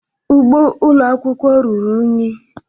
Ugbo ụlọ akwụkwọ ruru unyi.